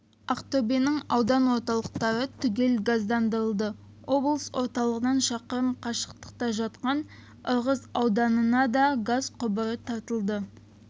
ақтөбенің аудан орталықтары түгел газдандырылды облыс орталығынан шақырым қашықтықта жатқан ырғыз ауданына да газ құбыры тартылды